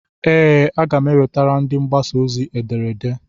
Ee, m ga-ewetara ndị mgbasa ozi ederede.